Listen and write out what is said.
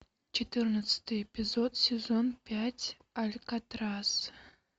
четырнадцатый эпизод сезон пять алькатрас